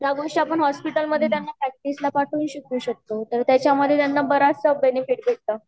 त्या गोष्टी आपण हॉस्पिटल मधे त्यांना प्रैक्टिस ला पाठवून शिकावु शकतो तर त्याच्या मधे त्यांना बराचसा बेनिफ़िट मिळतो